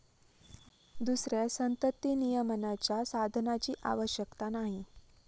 दुसऱ्या संततिनियमनाच्या साधनाची आवश्यकता नाही.